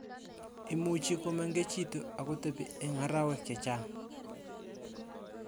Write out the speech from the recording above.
Imuchii komemgechitu akotepi eng arawek chechaang